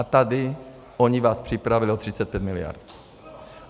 A tady oni vás připravili o 35 miliard!